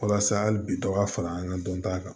Walasa hali bi dɔ ka fara an ka dɔnta kan